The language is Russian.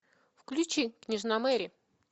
включи княжна мэри